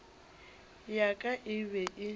ya ka e be e